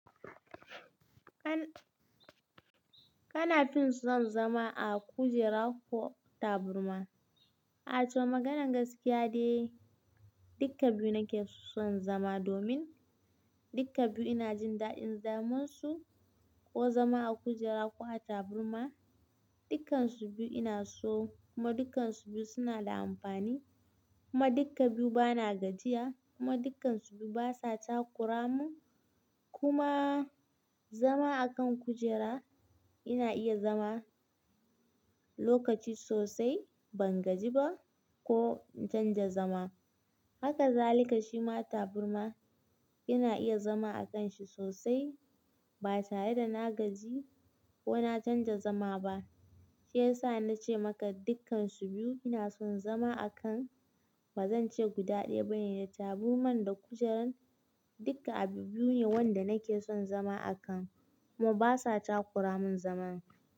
Kana fin son zama a kujera ko taburma? A toh maganar gaskiya de, dukka biyu nake son zama domin dukka biyu ina jin daɗin zamansu, ko zama a kujera ko a taburma. Dukansu biyu ina so kuma dukansu biyu suna da amfani. Kuma dukka biyu bana gajiya kuma dukansu biyu basa takura mun. Kuma zama a kan kujera ina iya zama lokaci sosai bangaji ba ko in canja zama. Haka zalika shi ma taburma ina iya zama a kanshi sosai ba tare da na gaji ko na canja zama ba. Shi yasa na ce maka dukansu biyu ina son zama a kan, bazan ce guda ɗai bane da taburman da kujeran dukka abu biyu ne wanda nake son zama a kan kuma basa takura mun zaman.